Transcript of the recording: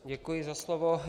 Děkuji za slovo.